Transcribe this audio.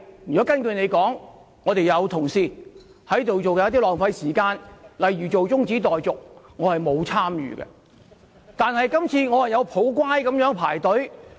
如果根據你所說，我們有同事在做一些浪費時間的事，例如提出中止待續議案，但我並沒有參與。